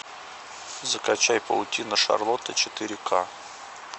закачай паутина шарлотты четыре ка